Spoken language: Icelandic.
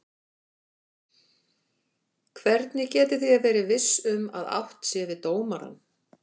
Hvernig getið þér verið viss um að átt sé við dómarann?